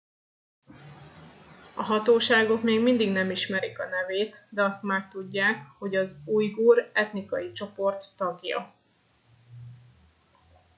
a hatóságok még mindig nem ismerik a nevét de azt már tudják hogy az ujgur etnikai csoport tagja